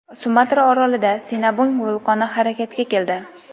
Sumatra orolida Sinabung vulqoni harakatga keldi .